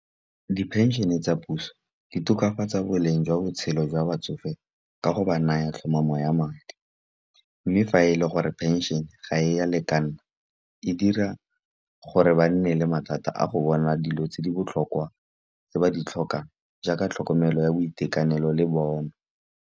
Di-pension-e tsa puso di tokafatsa boleng jwa botshelo jwa batsofe, ka go ba naya tlhomamo ya madi. Mme fa e le gore pension ga e ya lekana, e dira gore ba nne le mathata a go bona dilo tse di botlhokwa tse ba di tlhokang, jaaka tlhokomelo ya boitekanelo le bong.